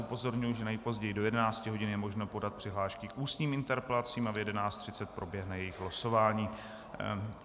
Upozorňuji, že nejpozději do 11 hodin je možno podat přihlášky k ústním interpelacím a v 11.30 proběhne jejich losování.